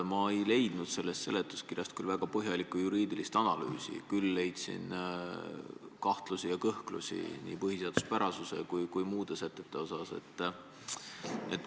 Ma ei leidnud sellest seletuskirjast kuigi põhjalikku juriidilist analüüsi, küll aga leidsin kahtlusi ja kõhklusi nii eelnõu põhiseaduspärasuse kui ka muus osas.